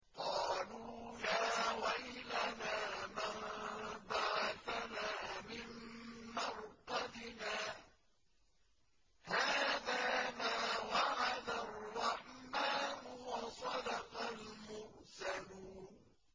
قَالُوا يَا وَيْلَنَا مَن بَعَثَنَا مِن مَّرْقَدِنَا ۜۗ هَٰذَا مَا وَعَدَ الرَّحْمَٰنُ وَصَدَقَ الْمُرْسَلُونَ